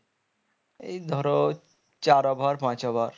এই ধরো চার over পাঁচ over